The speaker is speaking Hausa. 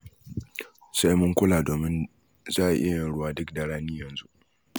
Sai mun kula, domin za a iya yin ruwa duk da rani yanzu.